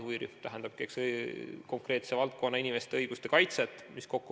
Huvirühm seisab konkreetse valdkonna inimeste õiguste kaitse eest.